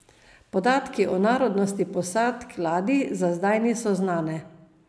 Podatki o narodnosti posadk ladij za zdaj niso znane.